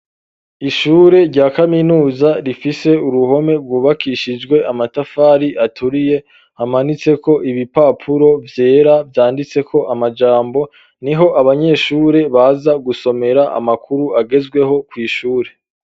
Ishure rya kaminuza rifise uruhome rwubakishijwe amatafari aturiye amanitseko ibipapuro vyera vyanditseko amajambo niho abanyeshure baza gusomera amakuru agezweho kw'ishure.